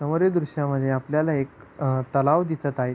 समोरील दृशा मध्ये आपल्याला एक तलाव दिसत आहे.